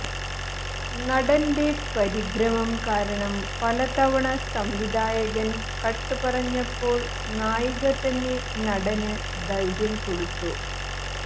നടന്റെ പരിഭ്രമം കാരണം പല തവണ സംവിധായകൻ കട്ട് പറഞ്ഞപ്പോൾ നായിക തന്നെ നടന് ധൈര്യം കൊടുത്തു